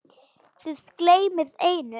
Þið gleymið einu.